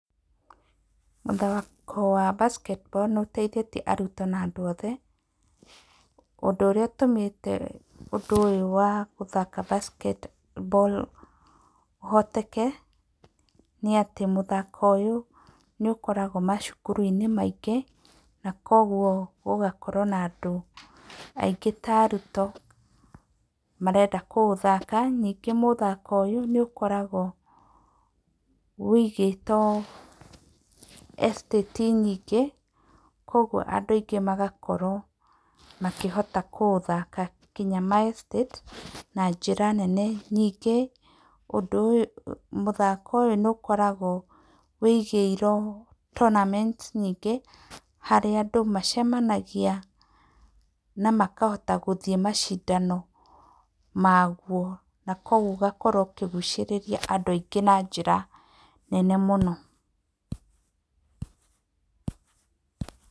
Mũthako wa Basketball nĩ ũteithĩtie arutwo na andũ othe. Ũndũ ũrĩa ũtũmĩte ũndũ ũyũ wa gũthaka Basketball ũhoteke nĩ atĩ mũthako ũyũ nĩ ũkoragwo macukuru-inĩ maingĩ. Na kwoguo ũgakorwo na andũ aingĩ ta arutwo marenda kũũthaka. Ningĩ mũthako ũyũ nĩ ũkoragwo ũigĩtwo Estate nyingĩ kwoguo andũ aingĩ magakorwo makĩhota kũũthaka nginya ma Estate na njĩra nene. Ningĩ mũthako ũyũ nĩ ũkoragwo ũigĩirwo tornament nyingĩ harĩa andũ macemanagia na makahota gũthiĩ macindano maguo. Na kwoguo ũkahota kũgucĩrĩria andũ aingĩ na njĩra nene mũno.